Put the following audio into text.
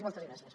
i moltes gràcies